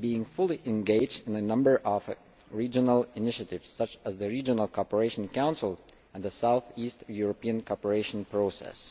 being fully engaged in a number of regional initiatives such as the Regional Cooperation Council and the South East European Cooperation Process.